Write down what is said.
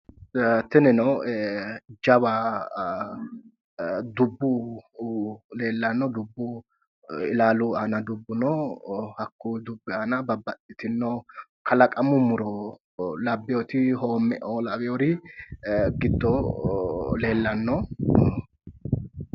Tinino jawa dubu leelano dubu ilaalu aana dubu no hakuyi dubi aana babaxitino kalaqamu muro labewooti hoomeo lawiyori gido leelano